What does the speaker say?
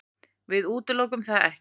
Við útilokum það ekkert.